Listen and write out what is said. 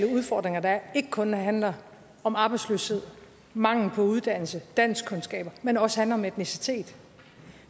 udfordringer der er ikke kun handler om arbejdsløshed mangel på uddannelse danskkundskaber men også handler om etnicitet